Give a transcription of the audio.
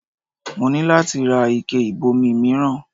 Mo ní láti ra ike ìbomi mìíràn